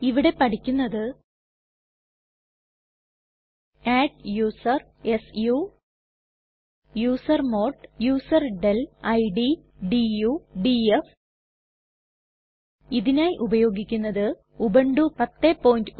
ഇവിടെ പഠിക്കുന്നത് adduser su usermod userdel id du df ഇതിനായി ഉപയോഗിക്കുന്നത് ഉബുണ്ടു 1010